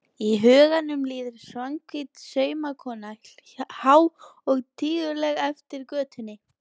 Í huganum líður Svanhvít saumakona há og tíguleg eftir götunni.